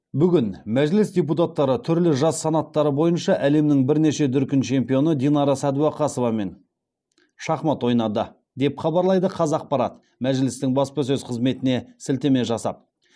бүгін мәжіліс депутаттары түрлі жас санаттары бойынша әлемнің бірнеше дүркін чемпионы динара сәдуақасовамен шахмат ойнады деп хабарлайды қазақпарат мәжілістің баспасөз қызметіне сілтеме жасап